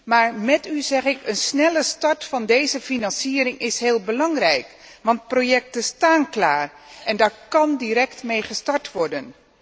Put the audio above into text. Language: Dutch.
Maar met u zeg ik een snelle start van deze financiering is heel belangrijk, want er liggen projecten klaar en daar kan direct mee gestart worden.